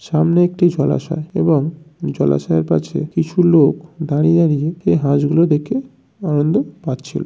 সামনে একটি জলাশয় এবং জলাশয়ের কাছে কিছু লোক দাঁড়িয়ে নিজেকে হাঁস গুলো দেখে আনন্দ পাচ্ছিল।